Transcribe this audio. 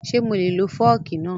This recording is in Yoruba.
Ṣé mo lè lo fọ́ọ̀kì náà?